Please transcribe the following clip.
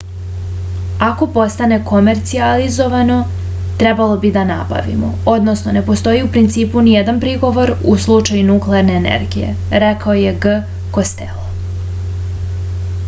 ako postane komercijalizovano trebalo bi da nabavimo odnosno ne postoji u principu nijedan prigovor u slučaju nuklearne energije rekao je g kostelo